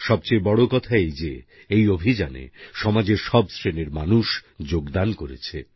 সবচেয়ে বড় কথা এই যে এই অভিযানে সমাজের সব শ্রেণীর মানুষ যোগদান করেছে